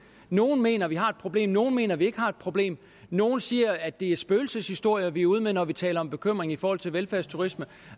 nogle mener at vi har et problem nogle mener at vi ikke har et problem nogle siger at det er spøgelseshistorier vi er ude med når vi taler om en bekymring i forhold til velfærdsturisme